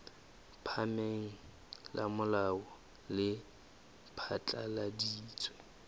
phahameng la molao le phatlaladitse